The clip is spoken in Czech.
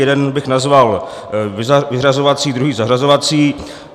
Jeden bych nazval vyřazovací, druhý zařazovací.